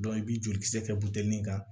i bɛ joli kisɛ kɛ kan